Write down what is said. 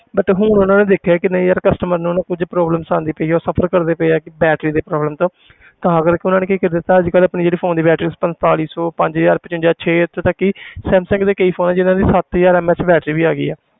But ਹੁਣ ਉਹਨਾਂ ਨੇ ਦੇਖਿਆ ਕਿ ਨਹੀਂ ਯਾਰ customer ਨੂੰ ਕੁੱਝ problem ਆਉਂਦੀ ਪਈ ਹੈ ਉਹ suffer ਕਰਦੇ ਪਏ ਹੈ ਕਿ battery ਦੀ problem ਤੋਂ ਤਾਂ ਕਰਕੇ ਉਹਨਾਂ ਨੇ ਕੀ ਕੀ ਦਿੱਤਾ ਅੱਜ ਕੱਲ੍ਹ ਆਪਣੀ ਜਿਹੜੇ phone ਦੀ battery ਪੰਤਾਲੀ ਸੌ ਪੰਜ ਹਜ਼ਾਰ ਪਚਵੰਜਾ ਛੇ ਇੱਥੋਂ ਤੱਕ ਕਿ ਸੈਮਸੰਗ ਦੇ ਕਈ phone ਆ ਜਿੰਨਾਂ ਦੀ ਸੱਤ ਹਜ਼ਾਰ MAH battery ਵੀ ਹੈਗੀ ਹੈ